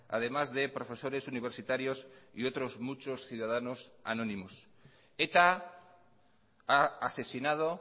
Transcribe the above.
además de profesores universitarios y otros muchos ciudadanos anónimos eta ha asesinado